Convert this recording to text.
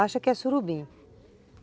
acha que é surubim.